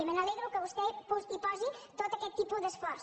me n’alegro que vostè hi posi tot aquest tipus d’esforç